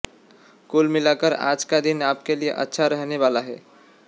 कुलमिलाकर आज का दिन आपके लिए अच्छा रहने वाला है